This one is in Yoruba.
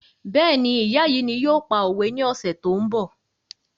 Béèni ìyá yìí ni yóò pa òwe ní ọ̀sẹ̀ tó ń bọ̀